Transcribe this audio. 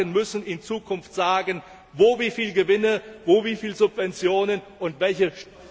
Die Banken müssen in Zukunft sagen, wo wie viele Gewinne, wo wie viele Subventionen und welche